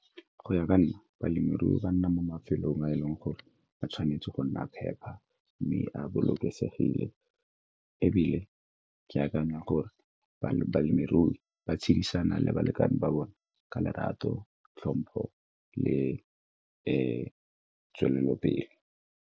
Go ya ka nna, balemirui ba nna mo mafelong a e leng gore ba tshwanetse go nna phepa mme a bolokesegile ebile ke akanya gore balemirui ba tshedisana le balekane ba bone ka lerato, tlhompho le tswelelopele.